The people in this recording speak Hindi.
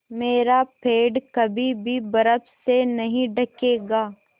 मेरा पेड़ कभी भी बर्फ़ से नहीं ढकेगा